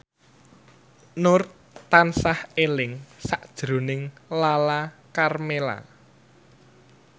Nur tansah eling sakjroning Lala Karmela